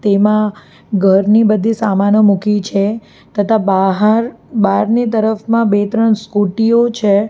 એમાં ઘરની બધી સામાનો મૂકી છે તથા બહાર બહારની તરફમાં બે ત્રણ સ્કુટી ઓ છે.